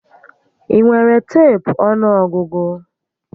Ị nwere teepu ọnụọgụgụ?